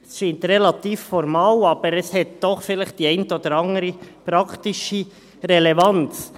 Es scheint relativ formal, aber es hat doch vielleicht die eine oder andere praktische Relevanz.